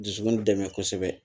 Dusukun dɛmɛ kosɛbɛ